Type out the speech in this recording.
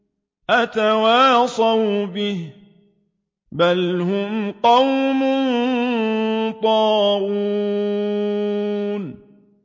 أَتَوَاصَوْا بِهِ ۚ بَلْ هُمْ قَوْمٌ طَاغُونَ